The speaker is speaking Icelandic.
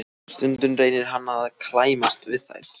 Stundum reynir hann að klæmast við þær.